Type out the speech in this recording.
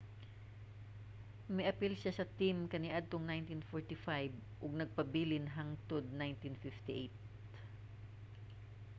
miapil siya sa team kaniadtong 1945 ug nagpabilin hangtod 1958